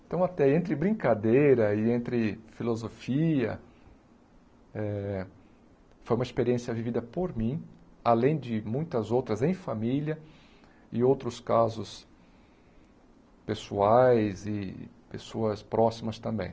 Então, até entre brincadeira e entre filosofia, eh foi uma experiência vivida por mim, além de muitas outras em família e outros casos pessoais e pessoas próximas também.